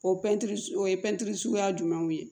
O pɛntiri su o ye pɛntiri suguya jumɛnw ye